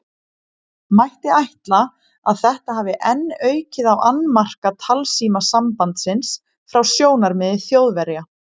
Mætti ætla, að þetta hafi enn aukið á annmarka talsímasambandsins frá sjónarmiði Þjóðverja.